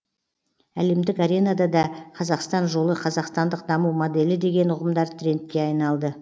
әлемдік аренада да қазақстан жолы қазақстандық даму моделі деген ұғымдар трендке айналды